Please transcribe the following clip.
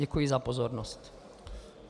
Děkuji za pozornost.